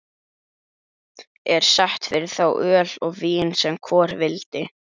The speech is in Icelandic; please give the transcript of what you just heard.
Er sett fyrir þá öl og vín sem hvor vildi.